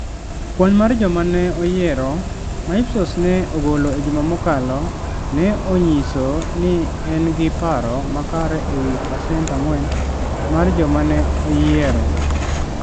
Kwan mar joma ne oyiero ma Ipsos ne ogolo e juma mokalo, ne onyiso ni en gi paro makare e wi pasent 4 mar joma ne oyiero.